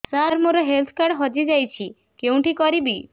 ସାର ମୋର health card ହଜି ଯାଇଛି କେଉଁଠି କରିବି